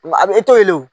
A bɛ e to ye o